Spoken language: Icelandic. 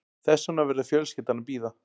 Þess vegna verður fjölskyldan að bíða